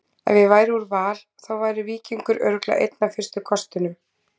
Ef ég færi úr Val þá væri Víkingur örugglega einn af fyrstu kostum.